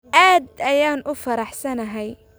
Aad ayaan u faraxsanahay.